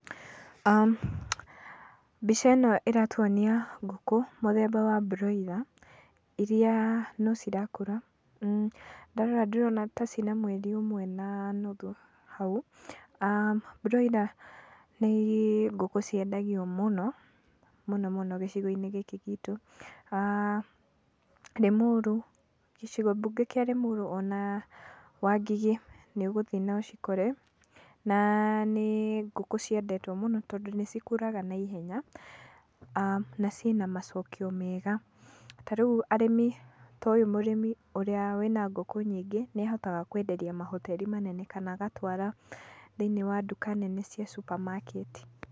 Mbica ĩno ĩratuonia ngũkũ mũthemba wa broiler iria no cirakũra, ndarora ndĩrona ta ciĩ na mweri ũmwe na nuthu hau, broiler nĩ ngũkũ ciendagio mũno, mũno mũno gĩcigo-inĩ gĩkĩ gitũ, aah Lĩmuru, gĩcigo mbunge kĩa Lĩmuru ona Wangigĩ nĩ ũgũthiĩ na ũcikore, na nĩ ngũkũ ciendetwo mũno, tondũ nĩ cikũraga naihenya, na ciĩna macokio mega, ta rĩu arĩmi, to yũ mũrĩmi ũrĩa wĩna ngũkũ nyingĩ nĩahotaga kwenderia mahoteri manene kana agatwara thĩiniĩ wa nduka nene cia supermarket.